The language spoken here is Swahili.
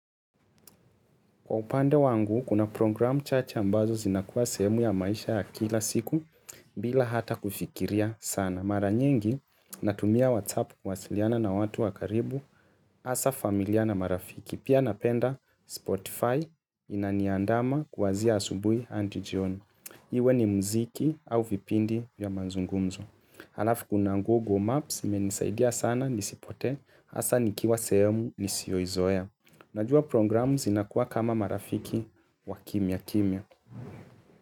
Kwa upande wangu, kuna programu chache ambazo zinakuwa sehemu ya maisha ya kila siku bila hata kufikiria sana. Mara nyingi, natumia WhatsApp kuwasiliana na watu wa karibu hasa familia na marafiki. Pia napenda Spotify inaniandama kwanzia asubui hadi jioni. Iwe ni mziki au vipindi ya manzungumzo. Alafu kuna Google Maps imenisaidia sana nisipotee hasa nikiwa sehemu nisiyo izoea. Najua programu zina kuwa kama marafiki wa kimya kimya.